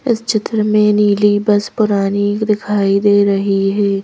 इस चित्र में नीली बस पुरानी दिखाई दे रही है।